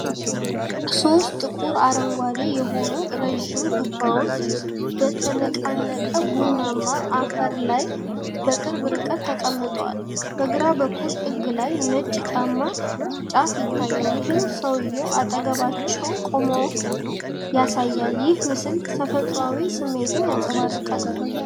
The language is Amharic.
ሶስት ጥቁር አረንጓዴ የሆኑ ረዣዥም ዱባዎች በተነቃነቀ ቡናማ አፈር ላይ በቅርብ ርቀት ተቀምጠዋል። በግራ በኩል ጥግ ላይ ነጭ ጫማ ጫፍ ይታያል፤ ይህም ሰውዬው አጠገባቸው መቆሙን ያሳያል። ይህ ምስል የተፈጥሮን ስሜት ያንጸባርቃል።